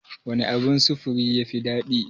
Wane abun sufuri ne ya fi daɗi?